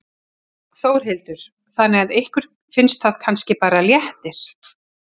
Þórhildur: Þannig að ykkur finnst það kannski bara léttir?